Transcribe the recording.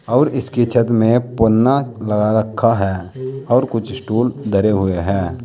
और इसकी छत में पन्ना लगा रखा है और कुछ स्टूल धरे हुए हैं।